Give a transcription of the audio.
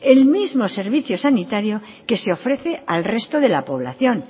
el mismo servicio sanitario que se ofrece al resto de la población